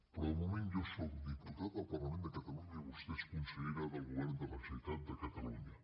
però de moment jo sóc diputat al parlament de catalunya i vostè és consellera del govern de la generalitat de catalunya